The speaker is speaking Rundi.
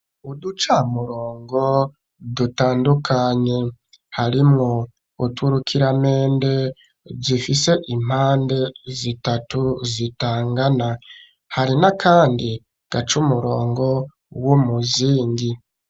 Uduca murongo dutandukanye harimwo uturukira mende zifise impande zitatu zitangana hari na, kandi gaca umurongo wo muzingi.